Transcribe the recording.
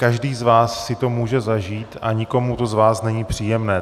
Každý z vás si to může zažít a nikomu to z vás není příjemné.